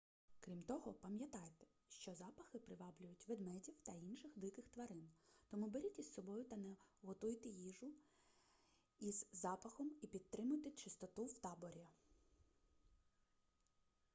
крім того пам'ятайте що запахи приваблюють ведмедів та інших диких тварин тому беріть із собою та не готуйте іжу із запахом і підтримуйте чистоту в таборі